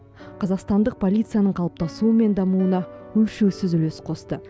қазақстандық полицияның қалыптасуы мен дамуына өлшеусіз үлес қосты